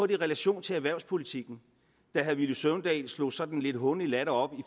i relation til erhvervspolitikken da herre villy søvndal slog sådan en lidt hånlig latter op